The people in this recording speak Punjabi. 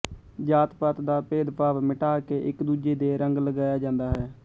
ਜਾਤ ਪਾਤ ਦਾ ਭੇਦਭਾਵ ਮਿਟਾ ਕੇ ਇਕ ਦੂਜੇ ਦੇ ਰੰਗ ਲਗਾਇਆ ਜਾਂਦਾ ਹੈ